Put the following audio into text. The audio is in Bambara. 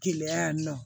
Keleya yan nɔ